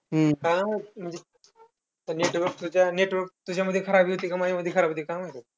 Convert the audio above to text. हम्म काय माहित म्हणजे. ते network च्या network तुझ्यामध्ये खराब येतंय का? माझ्यामध्ये खराब येतंय, काय माहित?